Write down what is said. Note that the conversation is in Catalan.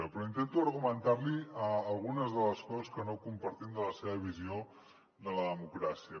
però intento argumentar li algunes de les coses que no compartim de la seva visió de la democràcia